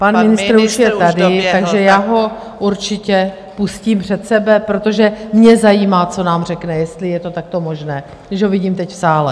Pan ministr už je tady, takže já ho určitě pustím před sebe, protože mě zajímá, co nám řekne, jestli je to takto možné, když ho vidím teď v sále?